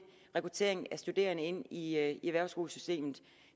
rekruttering af studerende ind i erhvervsskolesystemet